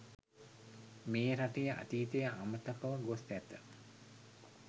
මේ රටේ අතීතය අමතකව ගොස් ඇත.